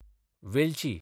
वेलची